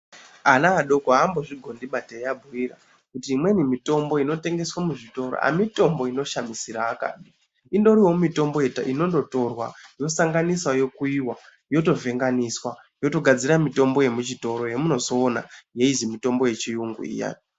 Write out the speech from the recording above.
Ana adoko haambo zvigondiba teyi vabhuyira kuti imweni mitombo inoshandiswa muzvitoro hayi mitombo inoshamisira akadi indoriwo mutombo inongotorwa yosanganiswa yokuyiwa yoto vhenganiswa yotogadzira mitombo yemuchitoro yemuchitoro yamunozoona inonzi mitombo yechiyungu iyani.